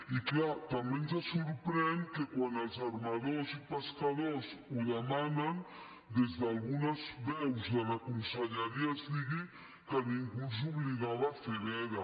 i clar també ens sorprèn que quan els armadors i pescadors ho demanen des d’algunes veus de la conselleria es digui que ningú els obligava a fer veda